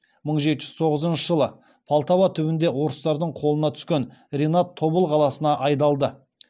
мың жеті жүз тоғызыншы жылы полтава түбінде орыстардың қолына түскен ренат тобыл қаласына айдалды